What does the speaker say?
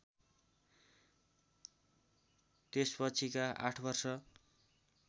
त्यसपछिका ८ वर्ष